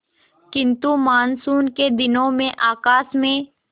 किंतु मानसून के दिनों में आकाश में